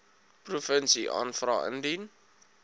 provinsie aanvra indien